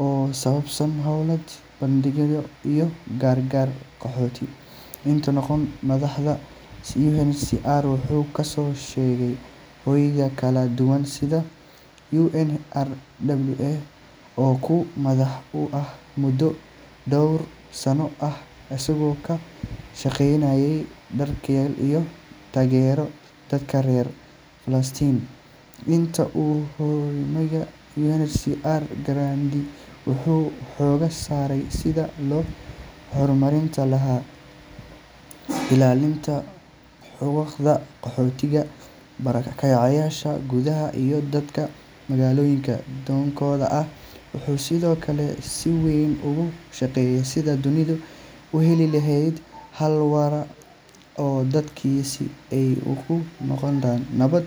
oo ku saabsan howlaha bini’aadantinimo iyo gargaar. Kahor intaanu noqon madaxa UNHCR, wuxuu kasoo shaqeeyay hay’ado kala duwan sida UNRWA oo uu madax u ahaa muddo dhowr sano ah, isagoo ka shaqeynayay daryeelka iyo taageerada dadka reer Falastiin. Inta uu hoggaaminayay UNHCR, Grandi wuxuu xoogga saaray sidii loo horumarin lahaa ilaalinta xuquuqda qaxootiga, barakacayaasha gudaha iyo dadka magangalyo doonka ah. Wuxuu sidoo kale si weyn uga shaqeeyay sidii dunidu u heli lahayd xal waara oo dadkaasi ay ugu noolaadaan nabad.